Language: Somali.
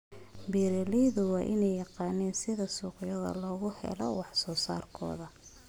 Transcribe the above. Beeraleydu waa inay yaqaaniin sida suuqyo loogu helo wax soo saarkooda.